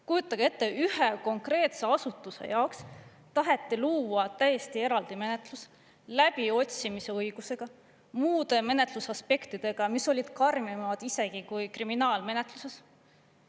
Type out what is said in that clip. Kujutage ette, ühe konkreetse asutuse jaoks taheti luua täiesti eraldi menetlus läbiotsimise õigusega ja muude menetlusaspektidega, mis olid karmimad isegi kui kriminaalmenetluses.